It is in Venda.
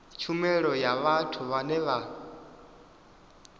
tshumelo ya vhathu vhane vha